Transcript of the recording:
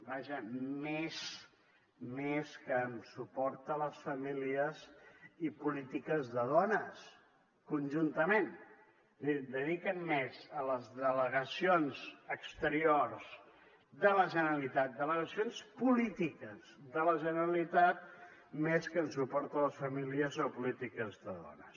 vaja més que en suport a les famílies i polítiques de dones conjuntament és a dir dediquen més a les delegacions exteriors de la generalitat delegacions polítiques de la generalitat més que en suport a les famílies o a polítiques de dones